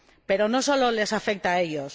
Pero no solo les afecta a ellos.